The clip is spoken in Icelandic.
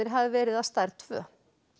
hafi verið af stærð tvö